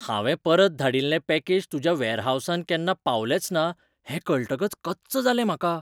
हांवें परत धाडिल्लें पॅकेज तुज्या वेअरहावसांत केन्ना पावंलेंचना हें कळटकच कच्च जालें म्हाका.